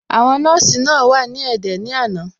Àwọn nọ́ọ̀sì náà wà ní ẹ̀dẹ̀ ní àná.